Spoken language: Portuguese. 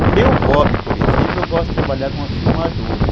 O meu hobby, por exemplo, eu gosto de trabalhar com a filmadora.